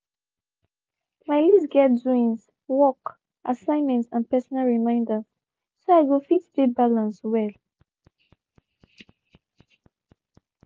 my list get doings work assignment and personal reminders so i go fit de balance well.